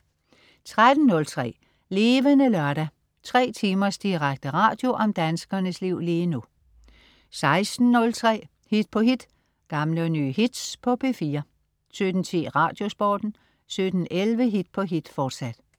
13.03 Levende Lørdag. 3 timers direkte radio om danskernes liv lige nu 16.03 Hit på hit. Gamle og nye hits på P4 17.10 Radiosporten 17.11 Hit på hit, fortsat